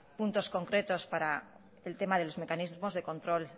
puntos concretos para el tema de mecanismos de control